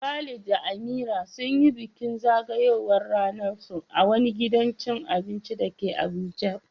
Khalid da Amira sun yi bikin zagayowar ranarsu a wani gidan cin abinci da ke Abuja.